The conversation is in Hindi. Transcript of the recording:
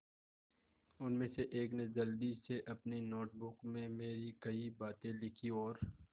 उनमें से एक ने जल्दी से अपनी नोट बुक में मेरी कही बातें लिखीं और